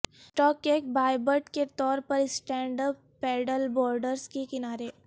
stock kayak hybrid کے طور پر اسٹینڈ اپ پیڈل بورڈز کے کنارے